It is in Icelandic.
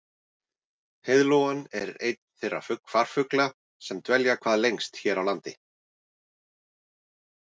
heiðlóan er einn þeirra farfugla sem dvelja hvað lengst hér á landi